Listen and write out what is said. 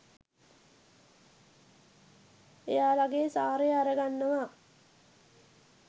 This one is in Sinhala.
එයාලගේ සාරය අරගන්නවා